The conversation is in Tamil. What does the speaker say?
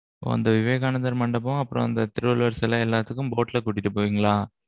அந்த விவேகானந்தர் மண்டபம், அப்புறம் அந்த திருவள்ளுவர் சிலை எல்லாத்துக்கும், boat ல கூட்டிட்டு போவீங்களா?